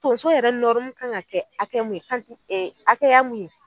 Donso yɛrɛ kan ka kɛ hakɛ mun ye , ee hakɛya mun ye